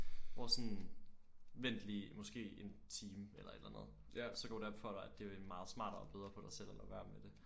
Hvor sådan vent lige måske en time eller et eller andet så går det op for dig at det er meget smartere og bedre for dig selv at lade være med det